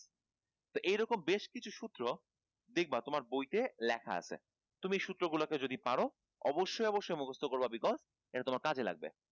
তো এরকম বেশ কিছু সূত্র দেখবা তোমার বই তে লেখা আছে তুমি সূত্র গুলা কে যদি পারো অবশ্যই অবশ্যই মুখস্থ করবা because এটা তোমার কাজে লাগবে